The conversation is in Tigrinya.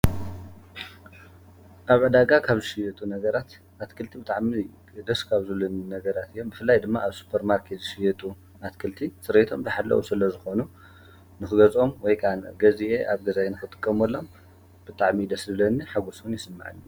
ኣብ ኣዳጋ ኻብ ሽየቱ ነገራት ኣትክልቲ ብጥዕሚ ደስካኣብ ዙሉኒ ነገራት የ ብፍላይ ድማ ኣብ ሱጰር ማርከ ዝሽየጡ ኣትክልቲ ጽረይቶም ተሓለዉ ስለ ዝኾኑ ንኽገጾም ወይቃን ገዜአ ኣብ ገዛይ ንኽጥቀም ሎም ብጣዕሚ ደስልለኒ ሓጐስን የስምዕን።